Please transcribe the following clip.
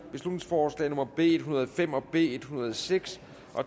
beslutningsforslag nummer b en hundrede og fem og b en hundrede og seks